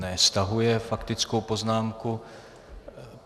Ne, stahuje faktickou poznámku.